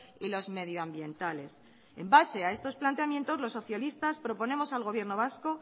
y los medioambientales en base a estos planteamientos los socialistas proponemos al gobierno vasco